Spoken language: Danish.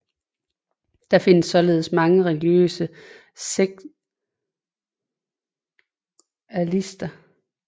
Der findes således mange religiøse sekularister